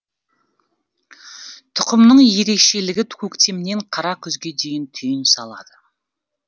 тұқымның ерекшелігі көктемнен қара күзге дейін түйін салады